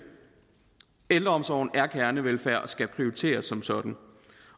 ældreomsorgen er kernevelfærd og skal prioriteres som sådan